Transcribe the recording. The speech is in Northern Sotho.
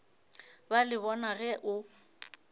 ba le bona ge o